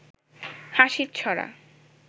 হাসির ছড়া